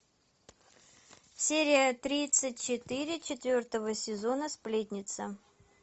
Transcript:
серия тридцать четыре четвертого сезона сплетница